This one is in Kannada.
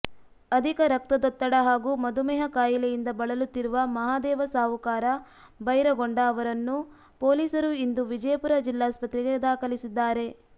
ಅಧಿಕ ರಕ್ತದೊತ್ತಡ ಹಾಗೂ ಮಧುಮೇಹ ಕಾಯಿಲೆಯಿಂದ ಬಳಲುತ್ತಿರುವ ಮಹಾದೇವ ಸಾಹುಕಾರ ಭೈರಗೊಂಡ ಅವರನ್ನು ಪೊಲೀಸರು ಇಂದು ವಿಜಯಪುರ ಜಿಲ್ಲಾಸ್ಪತ್ರೆಗೆ ದಾಖಲಿಸಿದ್ದಾರೆ